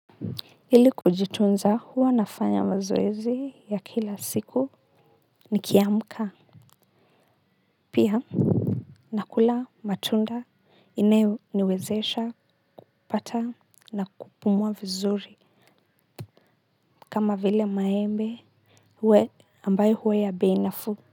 Ili kujitunza, huwa nafanya mazoezi ya kila siku nikiamka pia nakula matunda inayoniwezesha kupata na kupumwa vizuri. Kama vile maembe we, ambayo huwa ya bei nafuu.